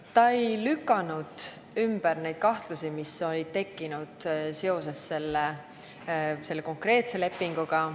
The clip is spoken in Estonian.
Ta ei lükanud ümber kahtlusi, mis olid tekkinud seoses selle konkreetse lepinguga.